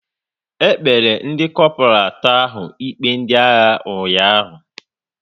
E kpere ndị Kopral atọ ahụ ikpe ndị agha ụnyaahụ